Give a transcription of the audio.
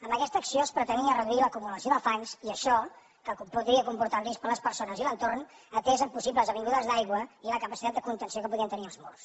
amb aquesta acció es pretenia reduir l’acumulació de fangs i això que podria comportar un risc per a les persones i l’entorn atès a possibles vingudes d’aigua i la capacitat de contenció que podien tenir els murs